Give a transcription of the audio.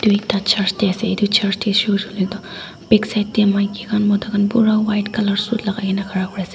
etu ekta church te ase etu church te sut hoile toh back side te maiki khan mota khan pura white colour suit logai kini ase.